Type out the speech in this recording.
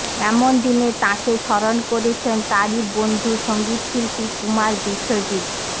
এমন দিনে তাঁকে স্মরণ করেছেন তাঁরই বন্ধু সংগীতশিল্পী কুমার বিশ্বজিৎ